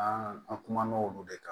An an kumana olu de kan